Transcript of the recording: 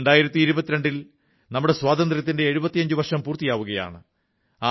2022 ൽ നമ്മുടെ സ്വാതന്ത്ര്യത്തിന്റെ 75 വർഷം പൂർത്തിയാവുകയാണ്